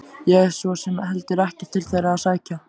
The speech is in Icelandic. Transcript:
Ég hef svo sem heldur ekkert til þeirra að sækja.